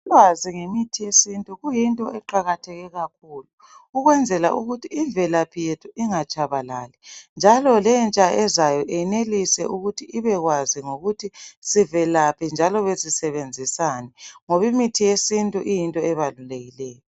Ukwazi ngemithi yesintu kuyinto eqakatheke kakhulu, ukwenzela ukuthi imvelaphi yethu ingatshabalali njalo lentsha ezayo enelise ukuthi ibe kwazi ngokuthi sivelaphi njalo besisebenzisani ngoba imithi yesintu iyinto ebalulekileyo.